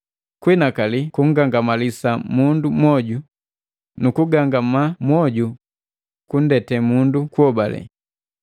kuhinakali kungangamalisa mundu mwoju, nu kugangamaa mwoju kundete mundu kuhobale.